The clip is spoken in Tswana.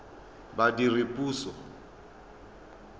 badiredipuso